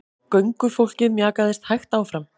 Göngufólkið mjakaðist hægt áfram.